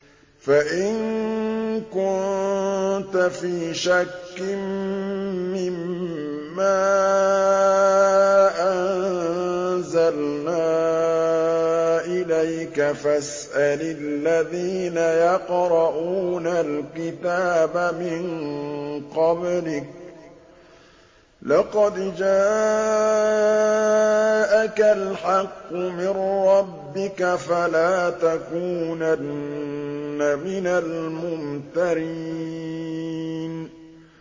فَإِن كُنتَ فِي شَكٍّ مِّمَّا أَنزَلْنَا إِلَيْكَ فَاسْأَلِ الَّذِينَ يَقْرَءُونَ الْكِتَابَ مِن قَبْلِكَ ۚ لَقَدْ جَاءَكَ الْحَقُّ مِن رَّبِّكَ فَلَا تَكُونَنَّ مِنَ الْمُمْتَرِينَ